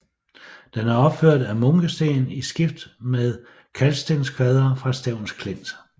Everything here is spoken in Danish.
Den er opført af munkesten i skift med kalkstenskvadre fra Stevns Klint